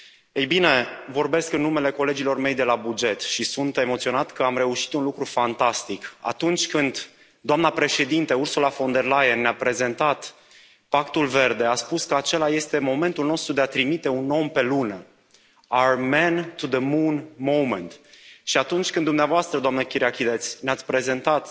Ei bine, vorbesc în numele colegilor mei de la buget și sunt emoționat că am reușit un lucru fantastic atunci când doamna președintă Ursula von der Leyen ne a prezentat Pactul Verde, a spus că acela este momentul nostru de a trimite un om pe Lună, our man to the Moon moment, și atunci când dumneavoastră, doamnă Kyriakides, ne ați prezentat